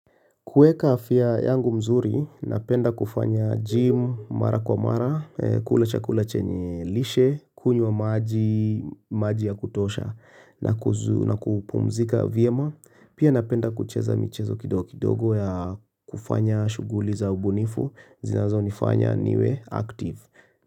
Kueka afya yangu mzuri, napenda kufanya gym, mara kwa mara, kula chakule chenye lishe, kunywa maji, maji ya kutosha, na kupumzika vyema. Pia napenda kucheza michezo kidogo ya kufanya shugguli za ubunifu, zinazo nifanya niwe active.